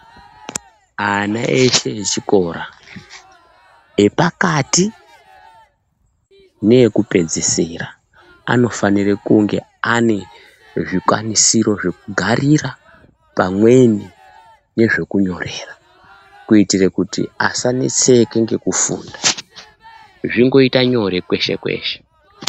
Ana eshe echikora epakati neekupedzisira anofanire kunge ane zvikwanisiro zvekugarira pamweni nezvekunyorera. Kuitire kuti asaneseke nekufunda, zvingoita nyore kweshe-kweshe.